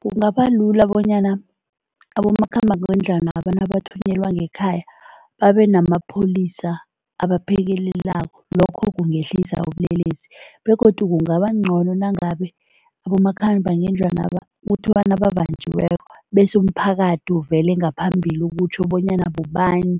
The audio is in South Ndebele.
Kungaba lula bonyana abomakhambangendlwanaba nabathunyelwa ngekhaya, babenamapholisa abaphekelelako, lokho kungehlisa ubulelesi begodu kungabangcono nangabe abomakhambangendlwanaba kuthiwa nababanjiweko bese umphakathi uvele ngaphambili utjho bonyana bobani